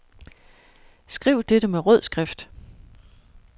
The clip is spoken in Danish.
Skriv dette med rød skrift.